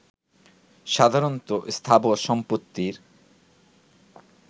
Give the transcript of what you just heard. সাধারণত স্থাবর সম্পত্তির